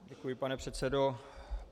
Děkuji, pane předsedo.